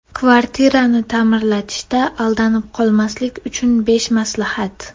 Kvartirani ta’mirlatishda aldanib qolmaslik uchun besh maslahat.